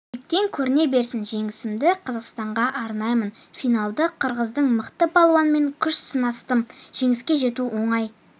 биіктен көріне берсін жеңісімді қазақстанға арнаймын финалда қырғыздың мықты балуанымен күш сынастым жеңіске жету оңай